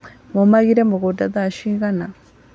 Mũmagĩra mũgũnda thaa cigana?